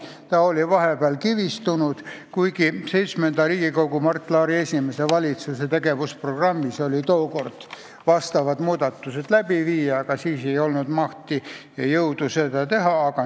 Vahepeal oli see kivistunud, kuigi VII Riigikogu ja Mart Laari esimese valitsuse tegevusprogrammis oli kirjas, et vastavad muudatused tuleb teha, aga tookord ei olnud selleks mahti ega jõudu.